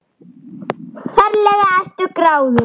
Ferlega ertu gráðug!